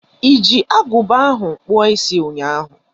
Iji aguba ahụ kpụọ isi ụnyaahụ.